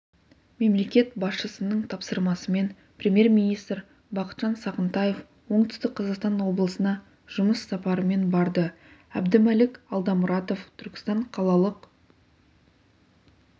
мемлекет басшысының тапсырмасымен премьер-министр бақытжан сағынтаев оңтүстік қазақстан облысына жұмыс сапарымен барды әбдімәлік алдамұратов түркістан қалалық